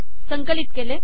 संकलित केले